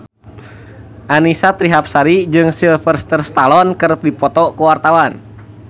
Annisa Trihapsari jeung Sylvester Stallone keur dipoto ku wartawan